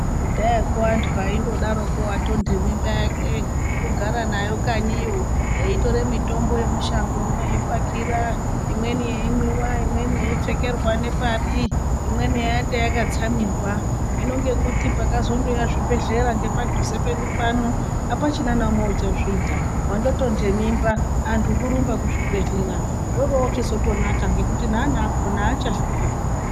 Kudhaya koo vandu vaingoropo watoite mimba yake kugara nayo kanyi iyo eyitore mitombo yake yemushango imweni eyipakira imweni yeyimwiwa imweni yeyiofekerww nepapi imweni yaite yakatsamirwa hino ngokuti pakazongouya zvibhedhleya ngepadhuze pedu pano hapachina ndeumwe uchazviita wandotoite mimba andu kurumba kuzvibhedhleya zvoda kuchizotona nekuti neana akona hachafi.